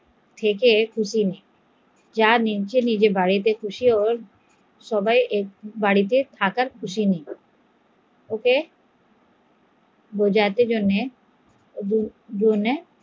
থেকে খুশি নয় সবাই সবার বাড়িতে খুশি হবে তাই এখানে একটু